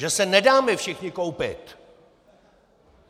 Že se nedáme všichni koupit!